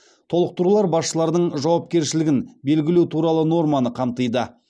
толықтырулар басшылардың жауапкершілігін белгілеу туралы норманы қамтиды